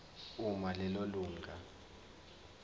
uma lelo lunga